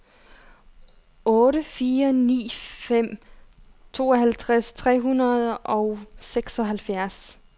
otte fire ni fem tooghalvtreds tre hundrede og seksoghalvfjerds